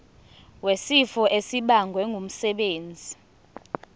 wesifo esibagwe ngumsebenzi